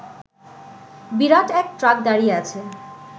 বিরাট এক ট্রাক দাঁড়িয়ে আছে